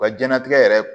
Wa jɛnlatigɛ yɛrɛ